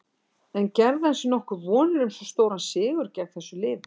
En gerði hann sér nokkuð vonir um svo stóran sigur gegn þessu liði?